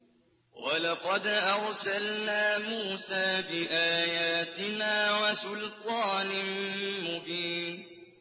وَلَقَدْ أَرْسَلْنَا مُوسَىٰ بِآيَاتِنَا وَسُلْطَانٍ مُّبِينٍ